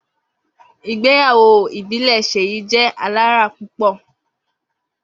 Igbeyawo ibile Seyi jẹ alara pupọ.